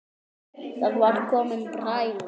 Það var komin bræla.